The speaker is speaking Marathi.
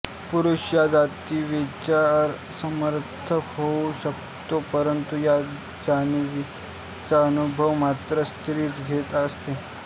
पुरुष या जाणिवेचा समर्थक होऊ शकतो परंतु या जाणिवेचा अनुभव मात्र स्त्रीच घेत असते